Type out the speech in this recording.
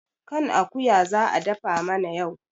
kan akuya za a dafa mana yau